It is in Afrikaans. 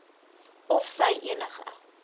of sy enige